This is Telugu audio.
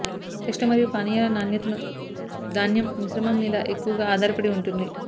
టేస్ట్ మరియు పానీయాల నాణ్యతను ధాన్యం మిశ్రమం మీద ఎక్కువగా ఆధారపడి ఉంటుంది